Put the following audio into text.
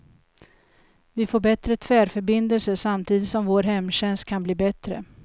Vi får bättre tvärförbindelser samtidigt som vår hemtjänst kan bli bättre.